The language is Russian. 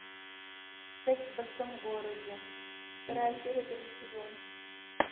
секс в большом городе вторая серия первый сезон